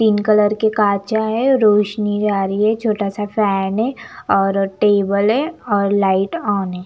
तीन कलर के काँचा है रोशनी जा रही है छोटा सा फैन है और टेबल है और लाइट ऑन है ।